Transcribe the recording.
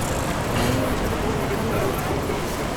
Maiyweek chetinye kaloris kityok